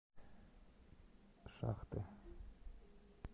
шахты